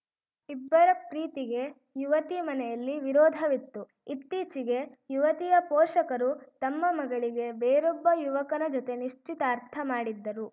ಇಬ್ಬರ ಪ್ರೀತಿಗೆ ಯುವತಿ ಮನೆಯಲ್ಲಿ ವಿರೋಧವಿತ್ತು ಇತ್ತೀಚೆಗೆ ಯುವತಿಯ ಪೋಷಕರು ತಮ್ಮ ಮಗಳಿಗೆ ಬೇರೊಬ್ಬ ಯುವಕನ ಜತೆ ನಿಶ್ಚಿತಾರ್ಥ ಮಾಡಿದ್ದರು